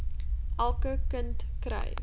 elke kind kry